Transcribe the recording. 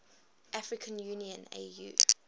african union au